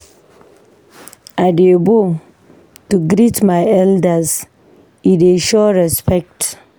I dey bow to greet my elders, e dey show respect.